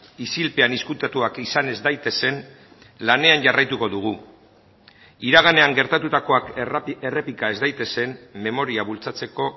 isilpean ezkutatuak izan ez daitezen lanean jarraituko dugu iraganean gertatutakoak errepika ez daitezen memoria bultzatzeko